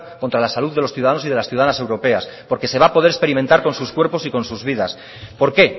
contra la salud de los ciudadanos y ciudadanas europeas porque se va a poder experimentar con sus cuerpos y con sus vidas por qué